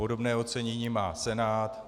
Podobné ocenění má Senát.